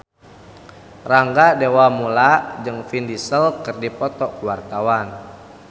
Rangga Dewamoela jeung Vin Diesel keur dipoto ku wartawan